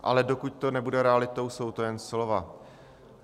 Ale dokud to nebude realitou, jsou to jen slova.